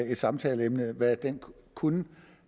et samtaleemne hvad den kunne